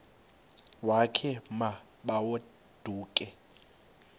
wakhe ma baoduke